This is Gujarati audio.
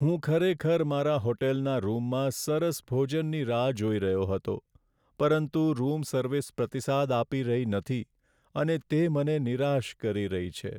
હું ખરેખર મારા હોટલના રૂમમાં સરસ ભોજનની રાહ જોઈ રહ્યો હતો, પરંતુ રૂમ સર્વિસ પ્રતિસાદ આપી રહી નથી અને તે મને નિરાશ કરી રહી છે.